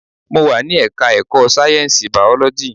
Mo wà ní ẹka ẹ̀kọ́ sáyẹnsì biology.